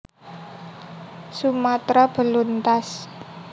Sumatra beluntas